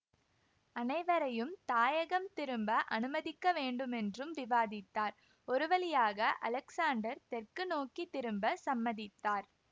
அனைவரையும் தாயகம் திரும்ப அனுமதிக்க வேண்டுமென்றும் விவாதித்தார் ஒருவழியாக அலெக்ஸாண்டர் தெற்கு நோக்கி திரும்ப சம்மதித்தார்